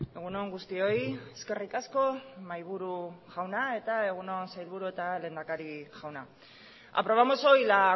egun on guztioi eskerrik asko mahaiburu jauna eta egun sailburu eta lehendakari jauna aprobamos hoy la